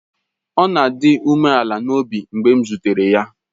Ọ na-adị umeala n'obi mgbe m zutere ya.